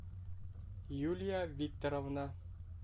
юлия викторовна